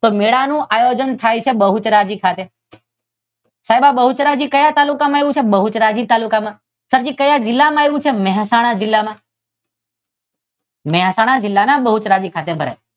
તો મેળાનું આયોજન થાય છે બહુચરાજી ખાતે. સાહેબ આ બહુચરાજી ક્યાં તાલુકામાં આવેલું છે? ક્યાં જીલ્લામાં આવેલું છે? મહેસાણા જીલ્લામાં. મહેસાણા જિલ્લાના બહુચરાજી ખાતે ભરાય.